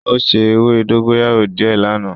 O se ewe dogoyaro die lana.